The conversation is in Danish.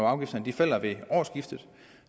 afgifterne falder ved årsskiftet